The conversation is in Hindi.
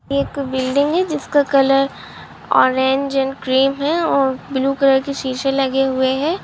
एक बिल्डिंग है जिसका कलर ऑरेंज एंड क्रीम है और ब्लू कलर के शीशे लगे हुए है।